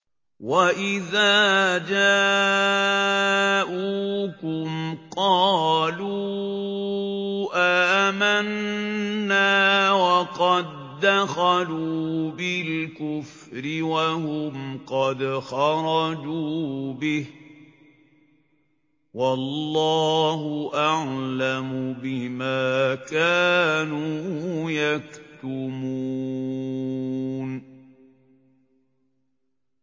وَإِذَا جَاءُوكُمْ قَالُوا آمَنَّا وَقَد دَّخَلُوا بِالْكُفْرِ وَهُمْ قَدْ خَرَجُوا بِهِ ۚ وَاللَّهُ أَعْلَمُ بِمَا كَانُوا يَكْتُمُونَ